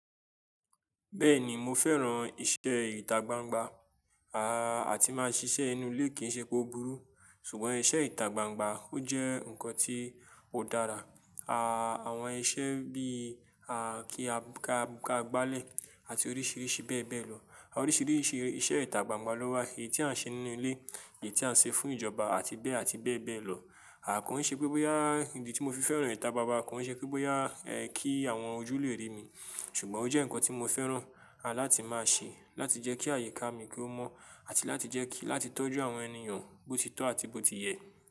Bẹ́ẹ̀ni mo fẹ́ran iṣẹ́ ìta gbangba, àti máa ṣiṣẹ́ inu ilé kì í ṣe pé ó burú. Ṣùgbọ́n iṣẹ́ ìta gbangba ó jẹ́ ǹkan tí ó dára. Àwọn iṣẹ́ bí i kí á gbáàlẹ̀ àti oríṣiríṣi bẹ́ẹ̀ bẹ́ẹ̀ lọ. Oríṣiríṣi iṣẹ́ ìta gbangba ló wà èyí tí à ń ṣe nínú ilé èyí tí à ń ṣe fún ìjọba àti bẹ́ẹ̀ àti bẹ́ẹ̀ bẹ́ẹ̀ lọ. Kọ́ńṣẹ́ pé bóyá ìdí tí mo fi fẹ́ran ìta gbangba kọ́ńṣẹ́ pé bóyá kí àwọn ojú lè rí mi. Ṣùgbọ́n ó jẹ́ ǹkan tí mo fẹ́ran láti máa ṣe láti jẹ́ kí àyíká mi kó mọ́ àti láti jẹ́ kí láti tọ́jú àwọn ènìyàn bó ti tó àti bó ti yẹ.